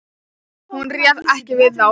Hún réð ekki við þá.